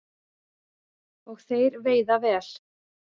Og þeir veiða vel